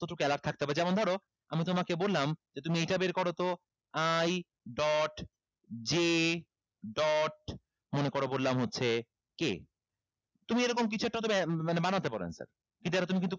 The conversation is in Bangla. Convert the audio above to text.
প্রচুর alert থাকতে হবে যেমন ধরো আমি তোমাকে বললাম যে তুমি এটা বের করোতো i dot j dot মনে করো বললাম হচ্ছে k তুমি এরকম কিছু একটা হয়তোবা মানে বানাতে পারো answer কিন্তু এটা তুমি কিন্তু